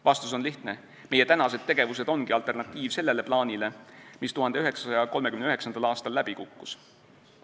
Vastus on lihtne: meie tänased tegevused ongi alternatiiv sellele plaanile, mis 1939. aastal läbi kukkus.